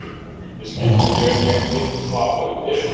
Ég skildi þig en ég er í miklum vafa um erindið.